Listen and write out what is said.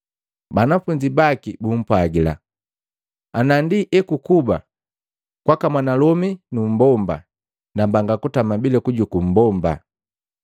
Banafunzi baki bumpwagila, “Ana ndi ekukuba kwaka mwanalomi numbomba nambanga kutama bila kujuku mmbomba.”